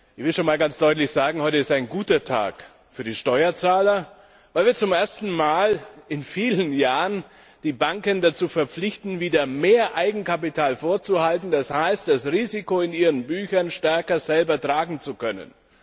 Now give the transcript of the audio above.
Ich will schon mal ganz deutlich sagen Heute ist ein guter Tag für die Steuerzahler, weil wir zum ersten Mal seit vielen Jahren die Banken dazu verpflichten, wieder mehr Eigenkapital vorzuhalten, das heißt das Risiko in ihren Büchern stärker selbst tragen zu können.